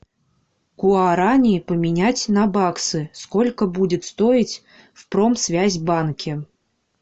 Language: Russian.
гуарани поменять на баксы сколько будет стоить в промсвязьбанке